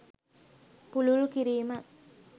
පුළුල් කිරීම